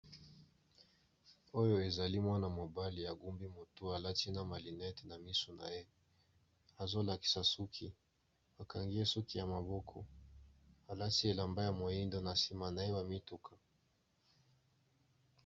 oyo ezali mwana mobali ya gumbi motu alati na malinete na misu na ye azolakisa suki bakangiye suki ya maboko alati elamba ya moindo na nsima na ye bamituka